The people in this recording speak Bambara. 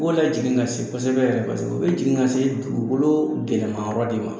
U tun bɛ ka jigin ka se kosɛbɛ yɛrɛ paseke u bɛ jigin ka se dugukolo gɛlɛnman yɔrɔ de ma.